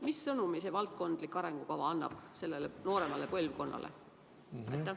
Mis sõnumi see valdkondade arengukava annab nooremale põlvkonnale?